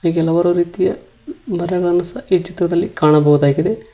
ಹಾಗೆ ಹಲವಾರು ರೀತಿಯ ಮರಗಳನ್ನು ಸಹ ಈ ಚಿತ್ರದಲ್ಲಿ ಕಾಣಬಹುದಾಗಿದೆ.